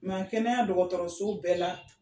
kɛnɛya dɔgɔtɔrɔso bɛɛ la.